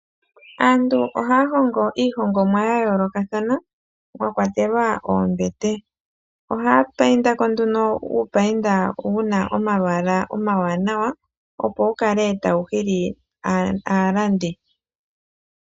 Aantu ohaya hongo iihongomwa ya yoolokathana mwakwatelwa oombete ohaya payindako nduno uupayinda wu na omalwaala omawanawa opo wu kale tawu hili aalandi.